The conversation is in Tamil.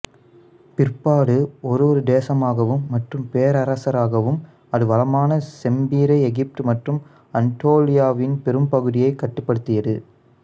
பிற்பாடு ஒரு ஒரு தேசமாகவும் மற்றும் பேரரசராகவும் அது வளமான செம்பிறை எகிப்து மற்றும் அனட்டோலியாவின் பெரும்பகுதியைக் கட்டுப்படுத்தியது